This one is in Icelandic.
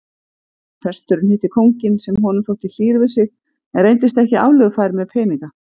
Presturinn hitti kónginn sem honum þótti hlýr við sig en reyndist ekki aflögufær með peninga.